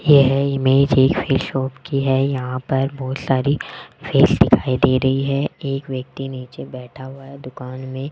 यह इमेज एक fish shop की है यहां पर बहुत सारी फिश दिखाई दे रही है एक व्यक्ति नीचे बैठा हुआ है दुकान में।